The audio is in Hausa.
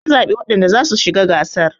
an zaɓi wadanda za su shi ga gasar